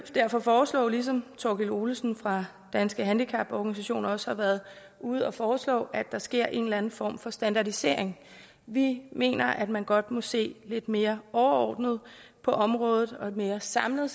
derfor foreslå ligesom thorkild olesen fra danske handicaporganisationer også har været ude at foreslå at der sker en eller anden form for standardisering vi mener at man godt må se lidt mere overordnet på området og mere samlet